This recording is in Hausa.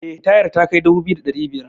eh tayar takai dubu biyu da arba'in da biyar